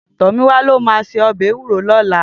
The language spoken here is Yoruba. Tomiwa ló má sé òbè èwúró lòlá